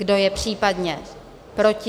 Kdo je případně proti?